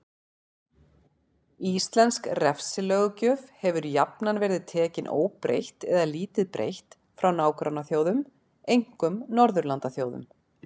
Íslensk refsilöggjöf hefur jafnan verið tekin óbreytt eða lítið breytt frá nágrannaþjóðum, einkum Norðurlandaþjóðum.